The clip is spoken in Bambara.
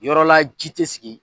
Yɔrɔla ji tɛ sigi.